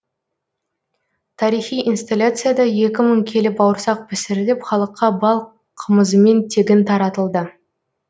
тарихи инсталяцияда екі мың келі бауырсақ пісіріліп халыққа бал қымызымен тегін таратылды